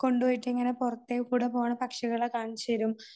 കൊണ്ടുപോയിട്ട് പുറത്തേക്കൂടെ പോകുന്ന പക്ഷികളെ കാണിച്ച് തരും